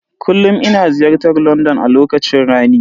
Kullum ina ziyartar London a lokacin rani.